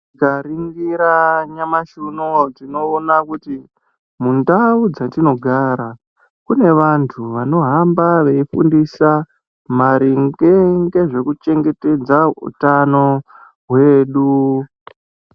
Tikaringiira nyamashi unowu, tinoona kuti ,mundau dzetinogara kune vantu vanohamba veifundisa maringe ngezvekuchengetedza utano hweduu.